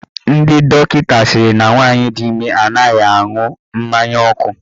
Ndị dọkịta sịrị na nwaanyị di ime anaghị aṅụ mmanya ọkụ.